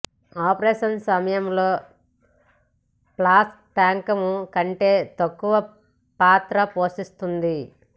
operation సమయంలో flux టంకము కంటే తక్కువ పాత్ర పోషిస్తుంది